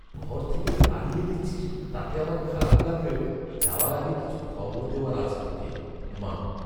ঘর থেকে তাড়িয়ে দিচ্ছিস তাতে আমার খারাপ লাগলেও, যাওয়ার আগে কিছু খবর দেওয়ার আছে তোকে। মা